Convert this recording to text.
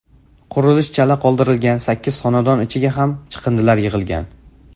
Qurilish chala qoldirilgan sakkiz xonadon ichiga ham chiqindilar yig‘ilgan.